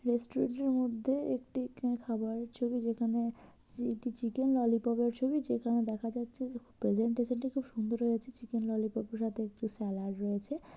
Restaurant -এর মধ্যে একটি কে খাবারের ছবি যেখানে চি একটি চিকেন ললিপপ এর ছবি যেখানে দেখা যাচ্ছে যে প্রেজেন্টেশন টি খুব সুন্দর হয়েছে চিকেন ললিপপ -এর সাথে একটু স্যালাদ রয়েছে ।